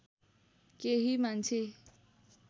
केही मान्छे